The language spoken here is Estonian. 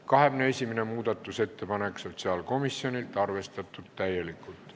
21. muudatusettepanek sotsiaalkomisjonilt, arvestatud täielikult.